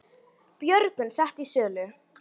Björgun sett í sölu